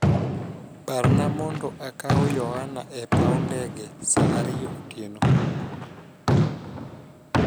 parna mondo akaw Yohana e paw ndege saa ariyo otieno